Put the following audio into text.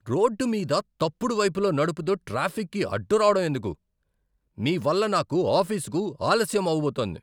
Road మీద తప్పుడు వైపులో నడుపుతూ ట్రాఫిక్కి అడ్డు రావడం ఎందుకు? మీ వల్ల నాకు ఆఫీసుకు ఆలస్యం అవబోతోంది.